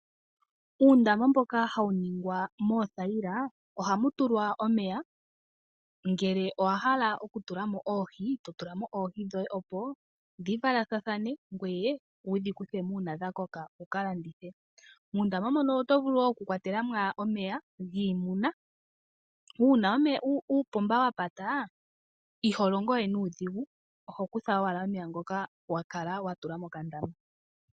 Uundama mboka ha wu ningwa moothayila ohamu tulwa omeya, ngele owahala okutulamo oohi totulamo oohi dhoye opo dhi valathane ngoye wu dhi kuthemo uuna dha koka wukalandithe . Muundama muno otovulu woo oku kwatelamo omeya giimuna uuna uupomba wa pata iho longo we nuudhigu oho kutha omeya ngoka wakala watula mokandama.